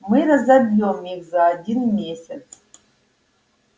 мы разобьём их за один месяц